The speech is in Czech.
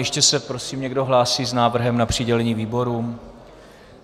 Ještě se prosím někdo hlásí s návrhem na přidělení výborům?